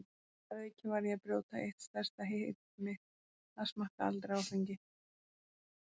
Að auki var ég að brjóta eitt stærsta heit mitt, að smakka aldrei áfengi.